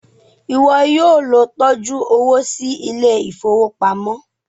iwọ yóò ló tọjú owo sí Ilé ìfowópamọ́.